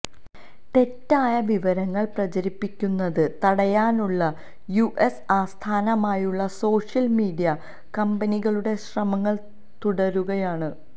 തെറ്റായ വിവരങ്ങൾ പ്രചരിപ്പിക്കുന്നത് തടയാനുള്ള യുഎസ് ആസ്ഥാനമായുള്ള സോഷ്യൽ മീഡിയ കമ്പനികളുടെ ശ്രമങ്ങൾ തുടരുകയാണ്